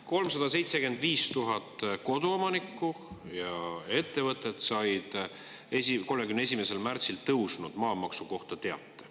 375 000 koduomanikku ja ettevõtet said 31. märtsil tõusnud maamaksu kohta teate.